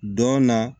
Dɔn na